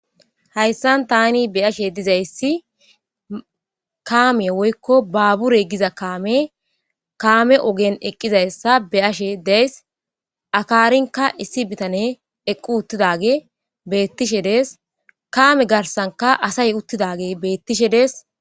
Haysan tan beyashe dizays kame woyko babure Giza kamey ogen eqi utidaysa beyashe days . Akarinka issi bitaney eqi utidagey betishe des, kame garsanka asay utidagey betushe Des.